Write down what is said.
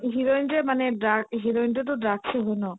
heroine যে মানে drug heroine টোতো drug য়ে হয় ন